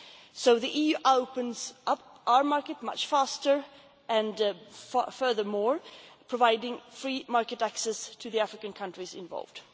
So the EU is opening up our market much faster and, furthermore, providing free market access to the African countries involved.